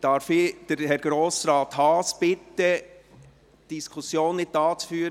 Darf ich Adrian Haas bitten, die Diskussion nicht hier zu führen.